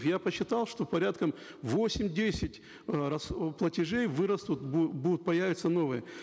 я посчитал что порядка восемь десять э платежей вырастут будут появятся новые